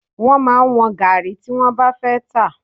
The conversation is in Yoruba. Wọ́n máa ń wọ́n gàárì tí wọ́n bá fẹ́ tà.